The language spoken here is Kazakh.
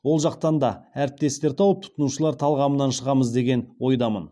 ол жақтан да әріптестер тауып тұтынушылар талғамынан шығамыз деген ойдамын